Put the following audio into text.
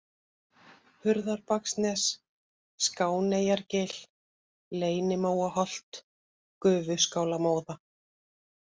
Hurðarbaksnes, Skáneyjargil, Leynimóaholt, Gufuskálamóða